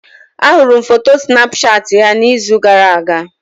Ahụrụ m foto Snapchat ya n'izu gara-aga.